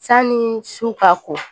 Sani su ka ko